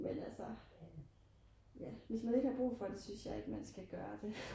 men altså hvis man har ikke har brug for det synes jeg ikke man skal gøre det